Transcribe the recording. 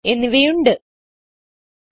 shape fill outline and size